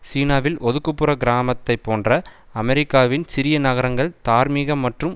சீனாவில் ஒதுக்குபுற கிராமத்தைப்போன்ற அமெரிக்காவின் சிறிய நகரங்கள் தார்மீக மற்றும்